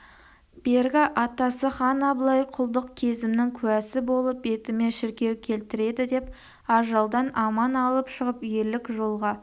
бергі атасы хан абылай құлдық кезімнің куәсі болып бетіме шіркеу келтіреді деп ажалдан аман алып шығып ерлік жолға